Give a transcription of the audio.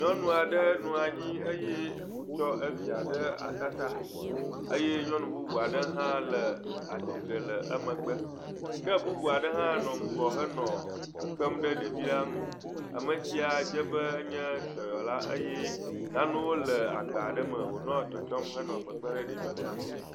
Nyɔnu aɖe nɔ anyi eye wokɔ evia ɖe atata eye nyɔnu bubu aɖe hã atsi tre le emegbe. Ke bubua aɖe hã nɔ ŋgɔ nɔ kpekpem ɖe ɖevia nu. Ame sia dze be enye dɔyɔla eye nanewo hã nɔ agba aɖe me, wò nɔ kpekpem ɖe ɖevi sia nu